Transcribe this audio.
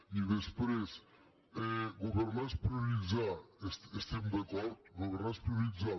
i després governar és prioritzar hi estem d’acord governar és prioritzar